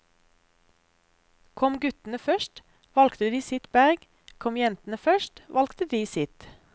Kom guttene først, valgte de sitt berg, kom jentene først, valgte de sitt.